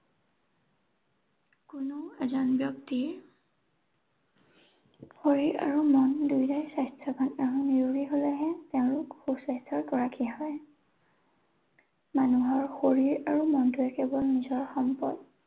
কোনো এজন ব্যক্তিয়ে শৰীৰ আৰু মন দুয়োটায়ে স্বাস্থ্যৱান আৰু নিৰুগী হলেহে তেওঁলোক সুস্বাস্থ্যৰ গৰাকী হয়। মানুহৰ শৰীৰ আৰু মনটোৱে কেৱল নিজৰ সম্পদ।